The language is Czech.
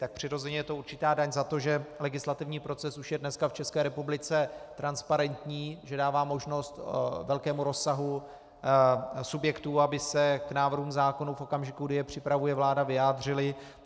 Tak přirozeně je to určitá daň za to, že legislativní proces už je dneska v České republice transparentní, že dává možnost velkému rozsahu subjektů, aby se k návrhům zákonů v okamžiku, kdy je připravuje vláda, vyjádřily.